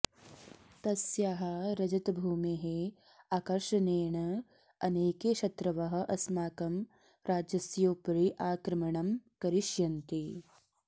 तस्याः रजतभूमेः आकर्षणेन अनेके शत्रवः अस्माकं राज्यस्योपरि आक्रमणं करिष्यन्ति